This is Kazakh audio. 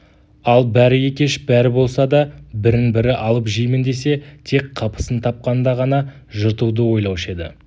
ал бәрі екеш бәрі болса да бірін-бірі алып жеймін десе тек қапысын тапқанда ғана жыртуды ойлаушы еді